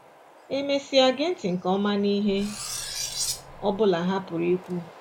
E mesịa, gee ntị nke ọma n’ihe ọ bụla ha pụrụ ikwu